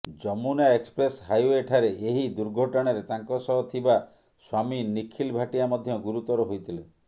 Yamuna express ହାଇୱେଠାରେ ଏହି ଦୁର୍ଘଟଣାରେ ତାଙ୍କ ସହ ଥିବା ସ୍ବାମୀ ନିଖିଲ ଭାଟିଆ ମଧ୍ୟ ଗୁରୁତର ହୋଇଥିଲେ